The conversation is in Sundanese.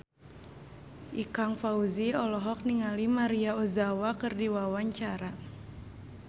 Ikang Fawzi olohok ningali Maria Ozawa keur diwawancara